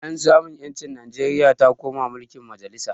Bayan samun ƴanci Nijeria ta koma mulkin majalisa